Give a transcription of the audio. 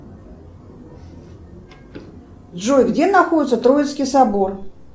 джой где находится троицкий собор